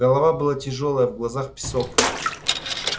голова была тяжёлая в глазах песок